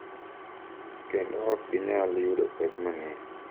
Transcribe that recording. Kendo ok ginyal yudo pek mang’eny